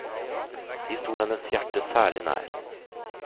De sto hennes hjerte særlig nær.